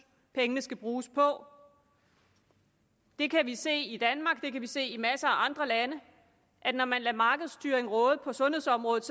pengene skal bruges på det kan vi se i danmark og det kan vi se i masser af andre lande når man lader markedsstyring råde på sundhedsområdet